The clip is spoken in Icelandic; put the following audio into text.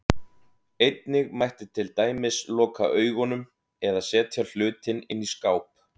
Einnig mætti til dæmis loka augunum, eða setja hlutinn inn í skáp.